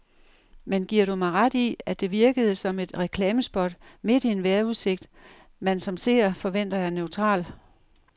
Men giver du mig ret i, at det virkede som et reklamespot midt i en vejrudsigt, man som seer forventer er neutral.